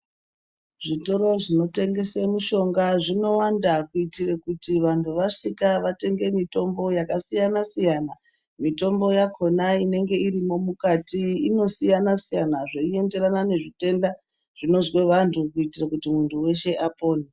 Zvitoro zvinotengesa mishonga zvinowanda, kuyitire kuti vantu vasvika vatenge mitombo yakasiyana-siyana. Mitombo yakhona inenge irimo mukati inosiyana-siyana, zveyienderana nezvitenda zvinozwa vantu ,kuyitira kuti muntu weshe apone.